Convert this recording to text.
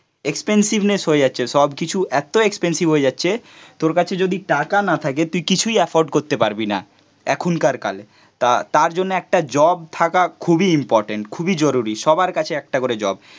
expensiveness হয়ে যাচ্ছে সবকিছু এত এক্সপেনসিভ হয়ে যাচ্ছে তোর কাছে যদি টাকা না থাকে তুই কিছুই এফোর্ড করতে পারবি না এখনকার কালে তার তার জন্য একটা জব থাকা খুবই ইম্পর্টেন্ট খুবই জরুরী, সবার কাছে একটা করে জব